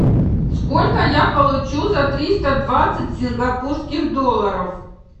сколько я получу за триста двадцать сингапурских долларов